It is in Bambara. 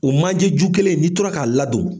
O manjeju kelen n'i tora k'a ladon.